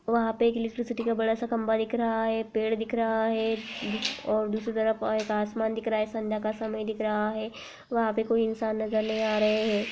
वहां पर एक इलेक्ट्रिसिटी का बड़ा सा खंबा दिख रहा है पेड़ दिख रहा है और दूसरी तरफ एक आसमान दिख रहा है संध्या का समय दिख रहा है वहां पे कोई इंसान नजर नहीं आ रहे हैं ।